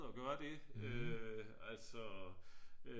At gøre det øh altså